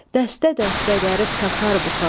Dəstə-dəstə dərib taxar buxağa,